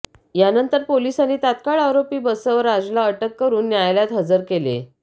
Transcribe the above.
यानंतर पोलिसांनी तत्काळ आरोपी बसवराजला अटक करून न्यायालयात हजर केले